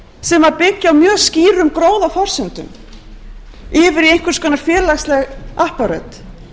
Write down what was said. sem byggja á mjög skýrum gróðaforsendum yfir í einhvers konar félagsleg apparöt